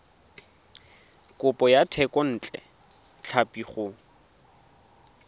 kopo ya thekontle tlhapi go